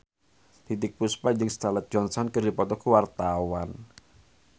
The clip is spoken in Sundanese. Titiek Puspa jeung Scarlett Johansson keur dipoto ku wartawan